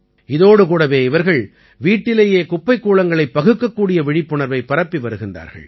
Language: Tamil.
இதோடு கூடவே இவர்கள் வீட்டிலேயே குப்பைக்கூளங்களைப் பகுக்கக்கூடிய விழிப்புணர்வை பரப்பி வருகிறார்கள்